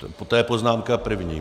To je poznámka první.